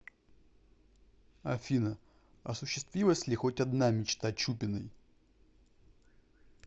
афина осущиствилась ли хоть одна мечта чупиной